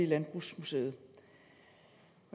landbrugsmuseum